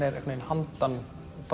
er handan